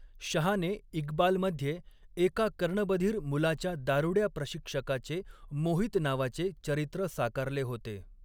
शहाने 'इक्बाल'मध्ये एका कर्णबधिर मुलाच्या दारुड्या प्रशिक्षकाचे मोहित नावाचे चरित्र साकारले होते.